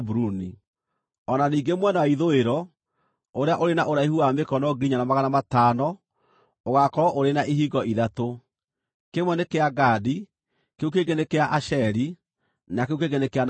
“O na ningĩ mwena wa ithũĩro, ũrĩa ũrĩ na ũraihu wa mĩkono 4,500, ũgaakorwo ũrĩ na ihingo ithatũ: kĩmwe nĩ kĩa Gadi, kĩu kĩngĩ nĩ kĩa Asheri, na kĩu kĩngĩ nĩ kĩa Nafitali.